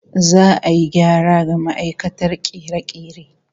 Za'a yi gyara ga ma'aikatar kere-kere